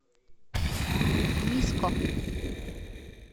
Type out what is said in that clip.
миско